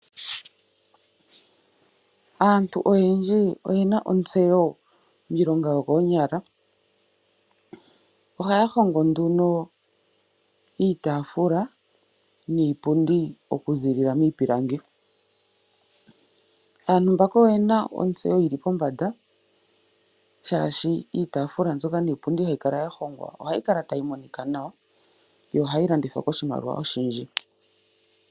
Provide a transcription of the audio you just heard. AaNtu oyendji oyena ontseyo miilonga yokoonyala, ohaya hongo nduno iitaafula niipundi oku ziilila miipilangi. Aantu mbaka oyena ontseyo yili pombanda shaashi iitaafula mbyoka niipundi hayi kala ya hongwa ohayi kala tayi monika nawa, yo ohayi landithwa koshimaliwa oshindji.